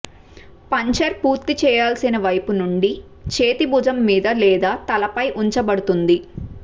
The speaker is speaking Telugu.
పంక్చర్ పూర్తి చేయాల్సిన వైపు నుండి చేతి భుజం మీద లేదా తలపై ఉంచబడుతుంది